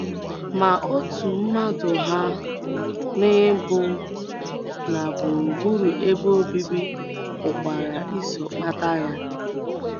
Ma otú mmadụ hà n’ibu na gburugburu ebe obibi pụkwara iso kpata ya.